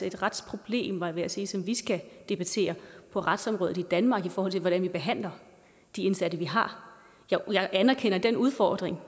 et retsproblem var jeg ved at sige som vi skal debattere på retsområdet i danmark i forhold til hvordan vi behandler de indsatte vi har jeg anerkender den udfordring